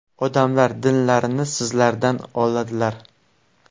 Odamlar dinlarini sizlardan oladilar.